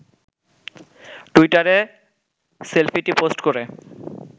টুইটারে সেলফিটি পোস্ট করে